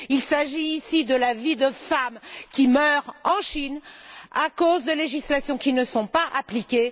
Il s'agit ici de la vie de femmes qui meurent en Chine, à cause de législations qui ne sont pas appliquées.